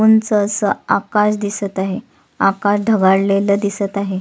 उंच अस आकाश दिसत आहे आकाश ढगाळलेल दिसत आहे.